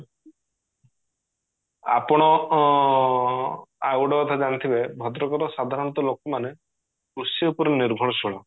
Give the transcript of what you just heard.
ଆପଣ ଅ ଆଉ ଗୋଟେ କଥା ଜାଣିଥିବେ ଭଦ୍ରକ ର ସାଧାରଣତଃ ଲୋକ ମାନେ କୃଷି ଉପରେ ନିର୍ଭରଶୀଳ